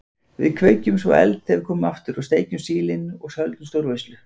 Við kveikjum svo eld þegar við komum aftur og steikjum sílin og höldum stórveislu.